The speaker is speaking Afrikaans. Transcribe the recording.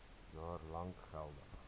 jaar lank geldig